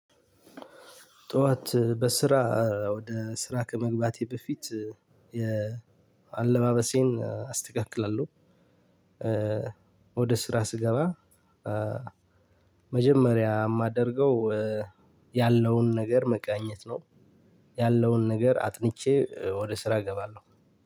ጠዋት በስራ ወደ ስራ ከመግባቴ በፊት የአለባበሴን አስተካክላለሁ። ወደ ስራ ስገባ። መጀመሪያ የማደርገው እ ያለውን ነገር መቃኘት ነው። ያለውን ነገር አጥንቼ ወደ ስራ እገባለሁ።